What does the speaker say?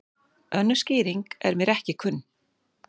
Önnur skýring er mér ekki kunn.